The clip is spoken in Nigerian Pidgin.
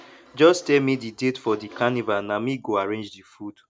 just tell me the date for di carnival na me go arrange di food